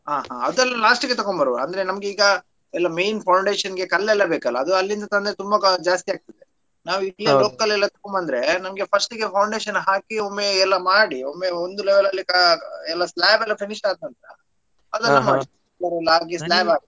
ಹಾ ಹಾ ಅದ್ನೇಲ್ಲ last ಗೆ ತೆಕೊಂಡು ಬರುವ ಅಂದ್ರೆ ನಮಗೆ ಈಗ ಎಲ್ಲ main foundation ಗೆ ಕಲ್ಲೆಲ್ಲ ಬೇಕಲ್ಲ ಅದು ಅಲ್ಲಿಂದ ತಂದ್ರೆ ತುಂಬಾ ಜಾಸ್ತಿ ಆಗ್ತದೆ ನಾವು ಇಲ್ಲಿಯೇ local ತೆಕೊಂಡು ಬಂದ್ರೆ first ಗೆ foundation ಹಾಕಿ ಒಮ್ಮೆ ಎಲ್ಲ ಮಾಡಿ ಒಮ್ಮೆ ಒಂದು level ಲ್ಲಿ ಕ~ ಎಲ್ಲ.